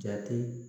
Jate